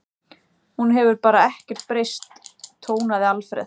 Hún hefur bara ekkert breyst tónaði Alfreð.